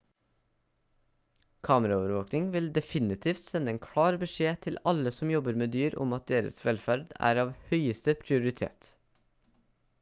kameraovervåkning vil definitivt sende en klar beskjed til alle som jobber med dyr om at deres velferd er av høyeste prioritet